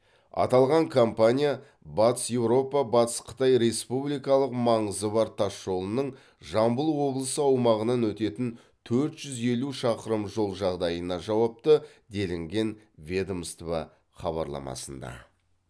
аталған компания батыс еуропа батыс қытай республикалық маңызы бар тас жолының жамбыл облысы аумағынан өтетін төрт жүз елу шақырым жол жағдайына жауапты делінген ведомство хабарламасында